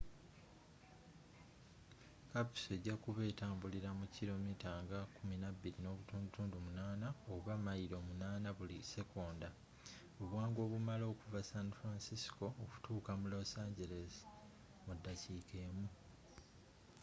kapiso ejakuba etambulila mu kilo mita nga 12.8 oba mayilo 8 buli sekonda obwangu obumala okuva san francisco okutuuka mu los angeles mu dakiika emu